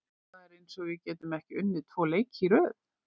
Það er eins og við getum ekki unnið tvo leiki í röð.